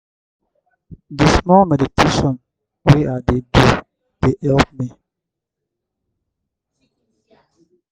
um di small meditation wey i dey do dey help me um comot um stress.